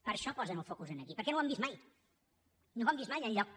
per això posen el focus aquí perquè no ho han vist mai no ho han vist mai enlloc